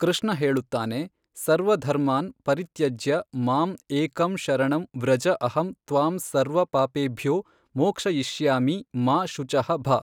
ಕೃಷ್ಣ ಹೇಳುತ್ತಾನೆ ಸರ್ವ ಧರ್ಮಾನ್ ಪರಿತ್ಯಜ್ಯ ಮಾಮ್ ಏಕಂ ಶರಣಂ ವ್ರಜ ಅಹಂ ತ್ವಾಂ ಸರ್ವ ಪಾಪೇಭ್ಯೋ ಮೋಕ್ಷಯಿಷ್ಯಾಮಿ ಮಾ ಶುಚಃ ಭ.